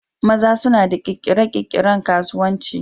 maza suna da kirkire-kirkiren kasuwanci